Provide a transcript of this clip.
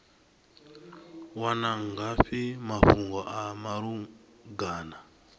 wana ngafhi mafhungo a malugana